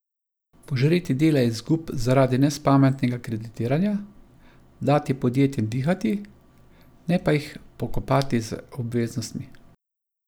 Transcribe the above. Požreti dela izgub zaradi nespametnega kreditiranja, dati podjetjem dihati, ne pa jih pokopati z obveznostmi.